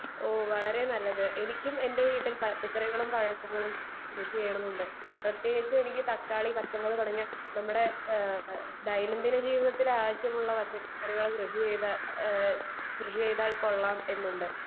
speaker 2 ഓഹ് വളരെ നല്ലത് എനിക്കും എന്റെ വീട്ടിൽ പച്ചക്കറികളും പഴങ്ങളും കൃഷി ചെയ്താൽ കൊള്ളാമെന്നുണ്ട് പ്രത്യേകിച്ച് എനിക്ക് തക്കാളി പച്ചമുളക് തുടങ്ങിയ ദൈനം ദിന ജീവിതത്തിലെ ആവശ്യമുള്ള പച്ചക്കറികൾ കൃഷി ചെയ്താൽകൊള്ളാം എന്നുണ്ട്